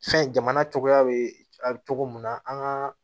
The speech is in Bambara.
Fɛn jamana cogoya be cogo mun na an ga